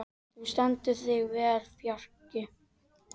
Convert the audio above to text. Þú stendur þig vel, Fjarki!